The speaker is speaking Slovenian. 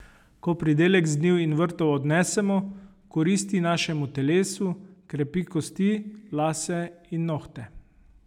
Ko pridelek z njiv in vrtov odnesemo, koristi našemu telesu, krepi kosti, lase in nohte.